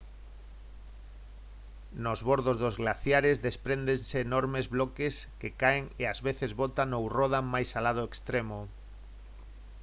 nos bordos dos glaciares despréndense enormes bloques que caen e ás veces botan ou rodan máis alá do extremo